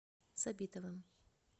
сабитовым